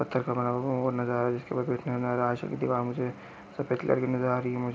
पत्थर का बना हुआ वो नजर आ रहा है सफेद कलर की नजर आ रही है मुझे--